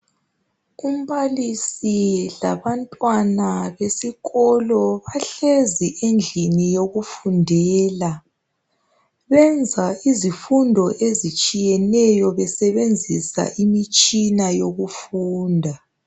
Umbalisi labantwana besikolo bahlezi endlini yokufundela benza izifundo ezitshiyeneyo besebenzisa imitshina yokufunda